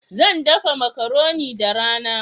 Zan dafa macaroni da rana